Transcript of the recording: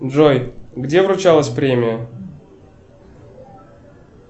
джой где вручалась премия